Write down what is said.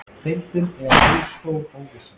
Deildin er ein stór óvissa